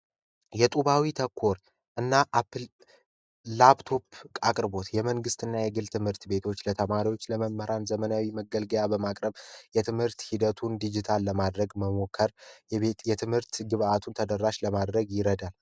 የጦቢያዊ ተኮር እና ላፕቶፕ አቅርቦት የመንግስትና የግል ትምህርት ቤቶች ለተማሪዎች ለመምህራን ዘመናዊ መገልገያ በማቅረብ የትምህርት ሂደቱን ዲጂታል ለማድረግ መሞከር የትምህርት ግብዓቱን ተደራሽ ለማድረግ ይረዳል።